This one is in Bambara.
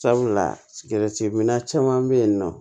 Sabula minna caman bɛ yen nɔ